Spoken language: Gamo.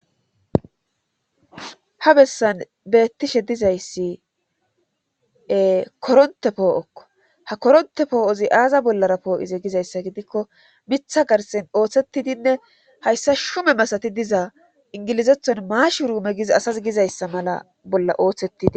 ha bessan beettishe dizayssi koronte poo7okko ha koronte poo7ozi aaza bollara poo7ize gizayssa gidikko mitha garsen ooththetidinne hayssa shume masati diza ingilizethon maash ruume gizi asas gizayssa mala bolla ooththettidi